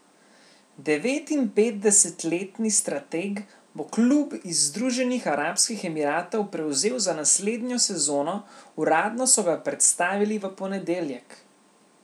Devetinpetdesetletni strateg bo klub iz Združenih arabskih emiratov prevzel za naslednjo sezono, uradno so ga predstavili v ponedeljek.